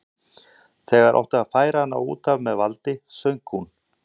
Þegar átti að færa hana út af með valdi söng hún